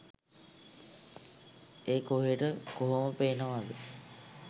ඒක ඔහෙට කොහොම පේනවද